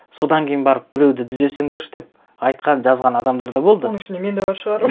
содан кейін барып біреуді түзесендерші деп айтқан жазған адамдар да болды оның ішінде мен де бар шығармын